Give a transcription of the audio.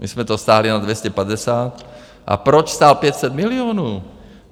My jsme to stáhli na 250 a proč stál 500 milionů?